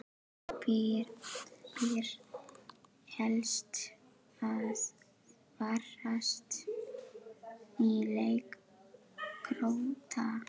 Hvað ber helst að varast í leik Króata?